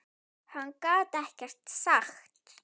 Hann gat ekkert sagt.